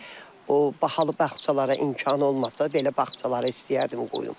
O bahalı bağçalara imkan olmasa, belə bağçalara istəyərdim qoyum.